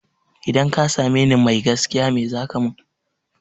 Idan ka same ni mai gaskiya me zaka mun?